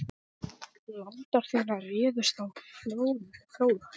Landar þínir réðust á Fróða.